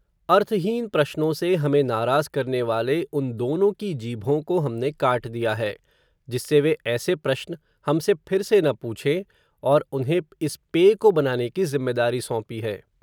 अर्थहीन प्रश्नों से, हमें नाराज़ करनेवाले, उन दोनों की जीभों को, हमने काट दिया है, जिससे वे ऐसे प्रश्न हमसे, फिर से न पूछें, और उन्हें इस पेय को बनाने की ज़िम्मेदारी सौंपी है.